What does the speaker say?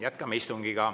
Jätkame istungit.